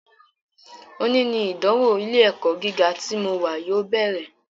Òní ni ìdánwò ilé - ẹ̀kọ́ gíga tí mo wà yóò bẹ̀rẹ̀